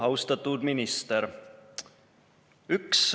Austatud minister!